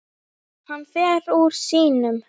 Hann fer úr sínum.